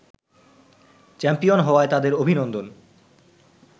champion হওয়ায় তাদের অভিনন্দন